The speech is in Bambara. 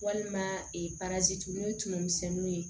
Walima n'o ye tumu misɛnninw ye